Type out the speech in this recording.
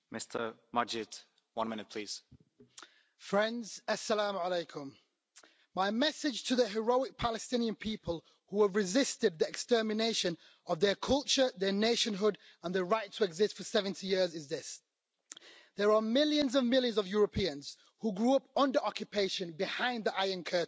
Mr President, My message to the heroic Palestinian people who have resisted the extermination of their culture, their nationhood and their right to exist for 70 years is this there are millions and millions of Europeans who grew up under occupation behind the Iron Curtain,